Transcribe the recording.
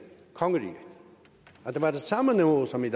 kongeriget at det var det samme niveau som i